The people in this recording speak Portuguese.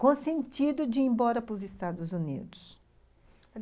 com o sentido de ir embora para os Estados Unidos.